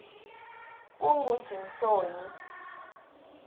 kungujimsoni